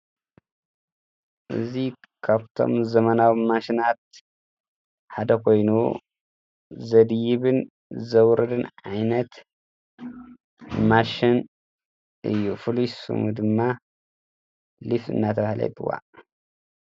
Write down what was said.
እዙይ ኻብቶም ዘመናዊ ማሽናት ሓደ ኾይኑ ዘድይብን ዘውርድን ዓይነት ማሽን እዩ ፍሉሱሙ ድማ ልፍ እናተውሃለይትዋ።